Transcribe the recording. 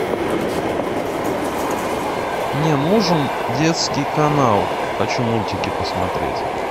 мне нужен детский канал хочу мультики посмотреть